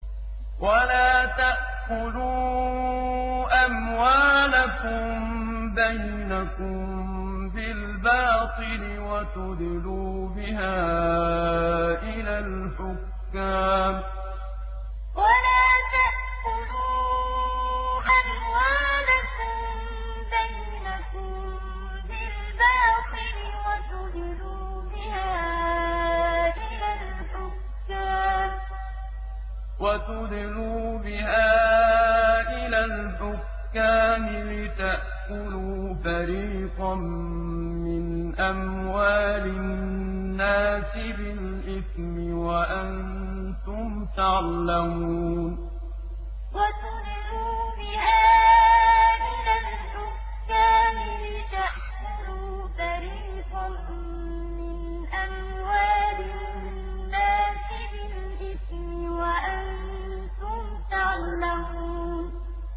وَلَا تَأْكُلُوا أَمْوَالَكُم بَيْنَكُم بِالْبَاطِلِ وَتُدْلُوا بِهَا إِلَى الْحُكَّامِ لِتَأْكُلُوا فَرِيقًا مِّنْ أَمْوَالِ النَّاسِ بِالْإِثْمِ وَأَنتُمْ تَعْلَمُونَ وَلَا تَأْكُلُوا أَمْوَالَكُم بَيْنَكُم بِالْبَاطِلِ وَتُدْلُوا بِهَا إِلَى الْحُكَّامِ لِتَأْكُلُوا فَرِيقًا مِّنْ أَمْوَالِ النَّاسِ بِالْإِثْمِ وَأَنتُمْ تَعْلَمُونَ